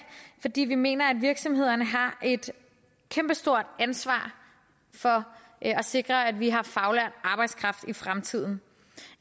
fordi vi mener at virksomhederne har et kæmpestort ansvar for at sikre at vi har faglært arbejdskraft i fremtiden